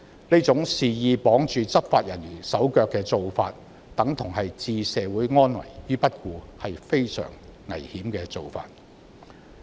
這種猶如肆意綁住執法人員手腳的方式等於置社會安危於不顧，是非常危險的做法。